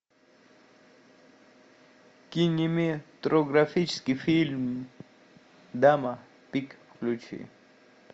кинематографический фильм дама пик включи